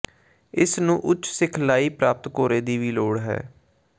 ਇਸ ਨੂੰ ਉੱਚ ਸਿਖਲਾਈ ਪ੍ਰਾਪਤ ਘੋੜੇ ਦੀ ਵੀ ਲੋੜ ਹੈ